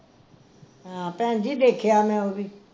ਹਾਂ ਭੈਣ ਦੇਖਿਆ ਮੈਂ ਉਹ ਵੀ